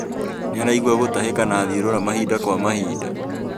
Nĩaraigua gũtahĩka na thiũrũra mahinda kwa mahinda